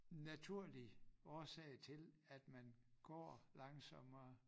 Naturlig årsag til at man går langsommere